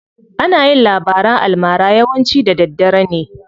Ana yin labaran almara yawanci da daddare ne.